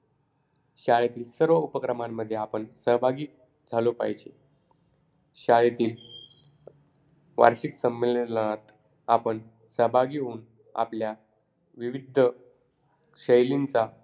चंद्रावरील शाळेत अभ्यास करावा नाहीलागणार .चंद्रवरच्या शाळेत नैतिक शाळा लागणार चंद्रावरच्या शाळेत मस्त मस्त मस्त केले केले जाते